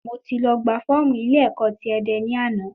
Mo ti lọ gba fọ́ọ̀mù ilé ẹ̀kọ́ ti Ẹdẹ ní àná